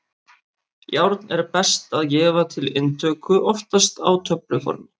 Járn er best að gefa til inntöku, oftast á töfluformi.